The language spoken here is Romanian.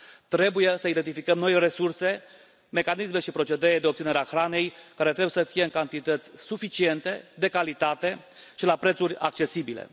Trebuie să identificăm noi resurse, mecanisme și procedee de obținere a hranei, care trebuie să fie în cantități suficiente, de calitate și la prețuri accesibile.